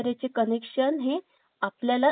आपलयाला laptop किंवा